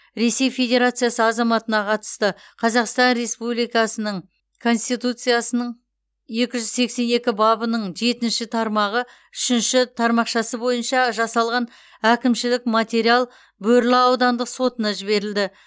ресей федерациясы азаматына қатысты қазақстан республикасының конституциясының екі жүз сексен екінші бабының жетінші тармағы үшінші тармақшасы бойынша жасалған әкімшілік материал бөрлі аудандық сотына берілді